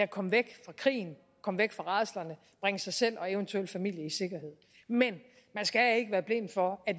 komme væk fra krigen komme væk fra rædslerne at bringe sig selv og eventuel familie i sikkerhed men man skal ikke være blind for at